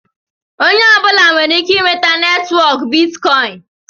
Onye ọbụla nwere ike inweta netwọk bitkọin.